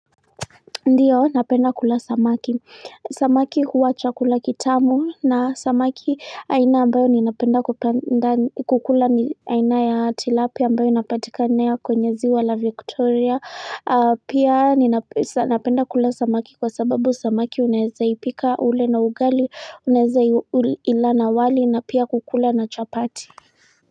Ndio napenda kula samaki Samaki huwa chakula kitamu na samaki aina ambayo ninapenda kupenda kukula ni aina ya tilapia ambayo inapatikanea kwenye ziwa la victoria pia napenda kula samaki kwa sababu samaki unaeza ipika ule na ugali, unaeza ila na wali na pia kukula na chapati.